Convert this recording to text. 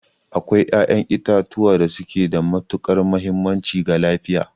Akwai ƴaƴan itatuwa da suke da matuƙar mahimmanci ga lafiya.